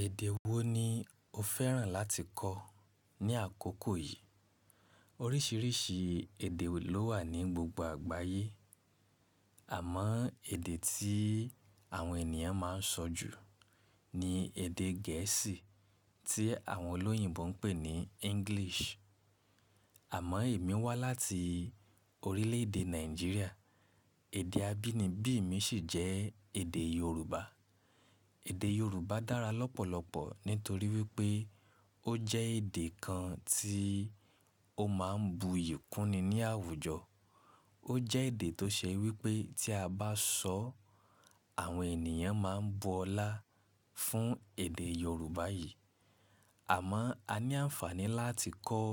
Èdè wo ni o fẹ́ràn láti kọ́ ní àkókò yìí? Oríṣiríṣi èdè ló wà ní gbogbo àgbáyé. Àmọ́ èdè tí àwọn ènìyàn máa ń sọ jù ni èdè gẹ̀ẹ́sì tí àwọn olóyìnbo ń pè ní English. Àmọ́ èmi wá láti orílẹ̀èdè Nàìjíríà. Èdè abínibí mi sì jẹ́ èdè Yorùbá. Èdè Yorùbá dára lọ́pọ̀lọpọ̀ nítorí wípé ó jẹ́ èdè kan tí ó máa ń buyì kúni ní àwùjọ. Ó jẹ́ èdè tó ṣe wípé tí a bá sọ́, àwọn ènìyàn máa ń bu ọlá fún èdè Yorùbá yìí. Àmọ́ a ní àǹfààní láti kọ́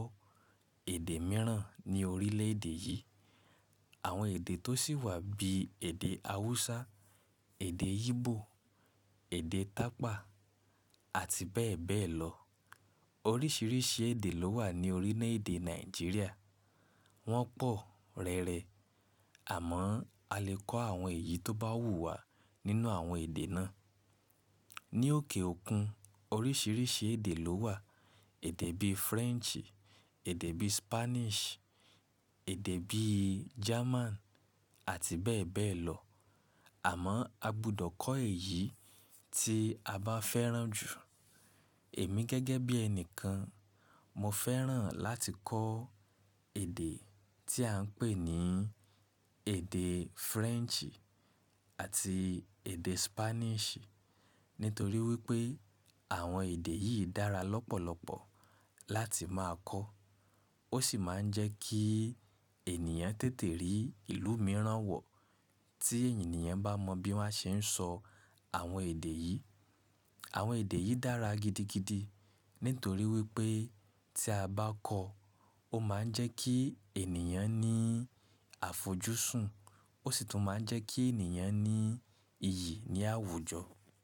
èdè mìíràn ní orílẹ̀ èdè yìí. Àwọn èdè tó sì wà bí i èdè Haúsá, èdè Ígbò, èdè Tapa àti bẹ́ẹ̀ bẹ́ẹ̀ lọ. Oríṣiríṣi èdè ló wà ní orílẹ̀èdè Nàìjíríà. Wọ́n pọ̀ rẹrẹ. Àmọ́ a lè kọ́ àwọn èyí tó bá wù wá nínú àwọn èdè náà. Ni òkè òkun oríṣiríṣi èdè ló wà. Èdè bíi French, èdè bíi Spanish, èdè bíi German àti bẹ́ẹ̀ bẹ́ẹ̀ lọ. Àmọ́ a gbọdọ̀ kọ́ èyí tí a bá fẹ́ràn jù. Èmi gẹ́gẹ́ bí ẹnìkan, mo fẹ́ràn láti kọ́ èdè tí à ń pè ní èdè French àti èdè Spanish. Nítorí wípé àwọn èdè yìí dára lọ́pọ̀lọpọ̀ láti máa kọ́. Ó sì máa ń jẹ́ kí ènìyàn tètè rí ìlú mìíràn wọ̀ tí ènìyàn bá mọ bí wọ́n ṣe ń sọ àwọn èdè yìí. Àwọn èdè yìí dára gidigidi nítorí wípé tí a bá kọ́, ó máa ń jẹ́ kí ènìyàn ní àfojúsùn, ó sì tún máa ń jẹ́ kí ènìyàn ní iyì ní àwùjọ.